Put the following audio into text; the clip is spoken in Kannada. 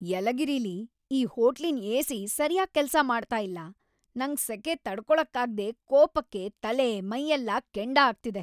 ಯಲಗಿರಿಲಿ ಈ ಹೋಟ್ಲಿನ್ ಏ.ಸಿ. ಸರ್ಯಾಗ್ ಕೆಲ್ಸ ಮಾಡ್ತಾ ಇಲ್ಲ, ನಂಗ್‌ ಸೆಖೆ ತಡ್ಕೊಳಕ್ಕಾಗ್ದೇ ಕೋಪಕ್ಕೆ ತಲೆ‌, ಮೈಯೆಲ್ಲ ಕೆಂಡ ಆಗ್ತಿದೆ.